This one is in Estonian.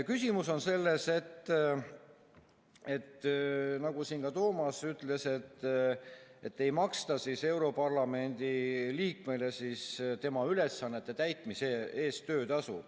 Küsimus on selles, nagu ka Toomas ütles, et europarlamendi liikmele ei maksta tema ülesannete täitmise eest töötasu.